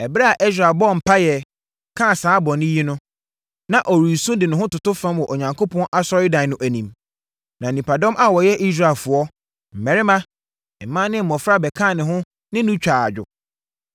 Ɛberɛ a Ɛsra bɔɔ mpaeɛ, kaa saa bɔne yi no, na ɔresu de ne ho toto fam wɔ Onyankopɔn Asɔredan no anim. Na nnipadɔm a wɔyɛ Israelfoɔ, mmarima, mmaa ne mmɔfra bɛkaa ne ho ne no twaa adwo.